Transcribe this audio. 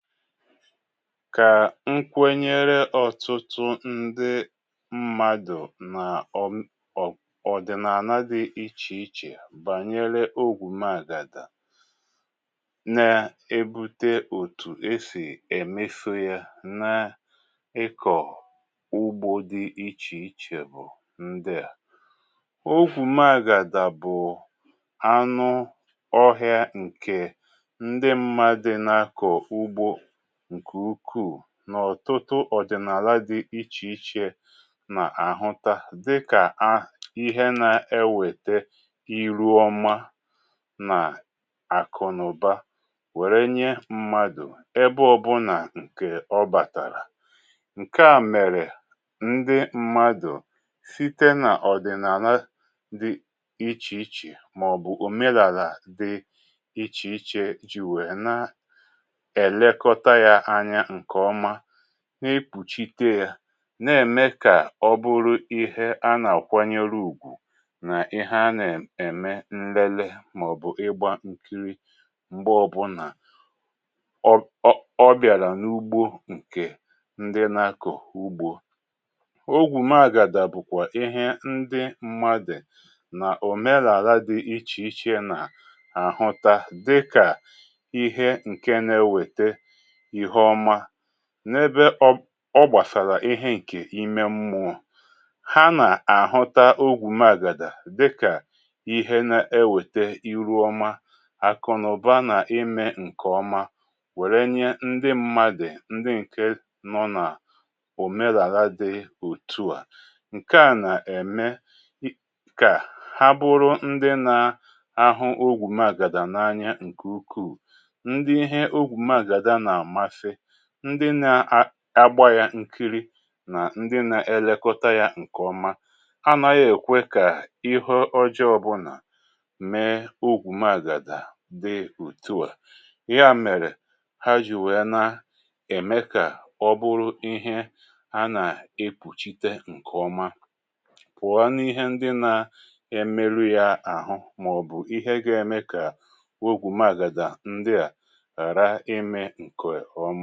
Kà nkwenyere ọtụtụ ndị mmadụ̀ nà um ọdịnana dị ichè ichè bànyere ogwù maàgàdà na-ebute òtù esì èmefu yȧ nà ịkọ̀ ugbȯ dị ichè ichè bụ̀ ndịà. Ogwù maàgàdà bụ̀ anụ ọhị̀a ǹkè ndị mmadụ ná akọ ugbo nkè ukuù n’ọ̀tụtụ ọ̀dị̀nàla dị ichè ichè nà àhụta dịkà ihe na-ewète iru ọma nà àkụnaụba wère nye mmadụ̀ ebe ọbụnà ǹkè ọ bàtàrà ǹke à mèrè ndị mmadụ̀ site n’ọ̀dị̀nàna dị ichè ichè maọbụ̀ òmenàlà dị ichè ichè ji wèe na elekọta yá ányá nkè ọmá nà ekpùchite yȧ n’ème kà ọ bụrụ ihé a nà-àkwanyere u̇gwù nà ihé a nà-ème nlele màọ̀bụ̀ ịgbȧ nkiri m̀gbè ọbụ̇nà um ọ bìàlà n’ugbo ǹkè ndị nà-akọ̀ ugbȯ. Ogwù magàdà bụ kwà ihé ndị mmadụ̀ nà òmèrèàla dị ichè ichè nà-àhụta dị kà ihé ǹke na-ewète ihé ọmá n’ebe ọ ọ gbàsàrà ihé ǹkè ime mmụọ. Ha nà-àhụta ogwù magàdà dị kà ihé na-ewète iru ọma, akụnaụba nà ime ǹkè ọma wère nyé ndị mmadị ndị ǹke nọ nà òmeràlà dị òtù a. Nke à nà-ème kà há bụrụ ndị nà-ahụ ogwù magàdà n’anya ǹkè ukuù. Ndị ihé ọgwụ magàdà nà amasị, ndị nà á ágbá yá nkiri nà ndị nȧ-ėlėkọta yá ǹkè ọma anaghị èkwe kà ihé ọjọọ ọbụnà mee ogwù magàdà dị otú á yá mèrè, ha jì wèe nà-ème kà ọ bụrụ ihé a nà-ekpùchite ǹkè ọma pụ̀ọ ni ihé ndị nȧ-emeru yá àhụ màọ̀bụ̀ ihé ga-eme kà ogwù magàdà ndị á ghara ímé nkè ọma.